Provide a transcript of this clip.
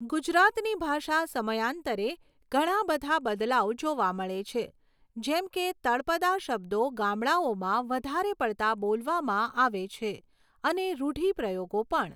ગુજરાતની ભાષા સમયાંતરે ઘણા બધા બદલાવ જોવા મળે છે જેમકે તળપદાં શબ્દો ગામડાઓમાં વધારે પડતા બોલવામાં આવે છે અને રુઢિપ્રયોગો પણ